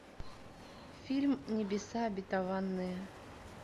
фильм небеса обетованные